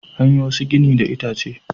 An yi wasu gini daga itace.